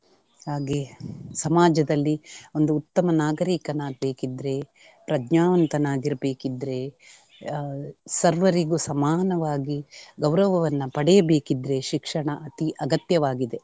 ಹಾಗೆ ಸಮಾಜದಲ್ಲಿ ಒಂದು ಉತ್ತಮ ನಾಗರಿಕನಾಗ್ಬೇಕಿದ್ರೆ, ಪರಜ್ಞಾವಂತನಾಗಿರ್ಬೆಕಿದ್ರೆ ಆಹ್ ಸರ್ವರಿಗೂ ಸಮಾನವಾಗಿ ಗೌರವವನ್ನು ಪಡೆಯಬೇಕಿದ್ರೆ ಶಿಕ್ಷಣ ಅತೀ ಅಗತ್ಯವಾಗಿದೆ.